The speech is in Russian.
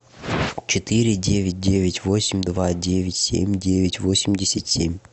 четыре девять девять восемь два девять семь девять восемьдесят семь